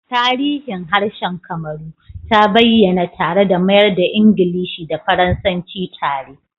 Tarihin harshen Kamaru ta bayyana tare da mayar da Ingilishi da Faransanci tare